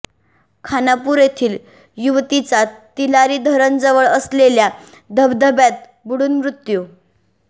खानापूर येथील युवतीचा तिलारी धरण जवळ असलेल्या धबधब्यात बुडून मृत्यू